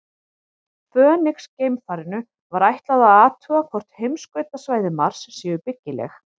Fönix-geimfarinu var ætlað að athuga hvort heimskautasvæði Mars séu byggileg.